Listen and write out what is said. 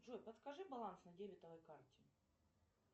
джой подскажи баланс на дебетовой карте